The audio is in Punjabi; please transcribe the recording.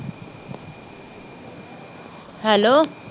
ਹੈਲੋ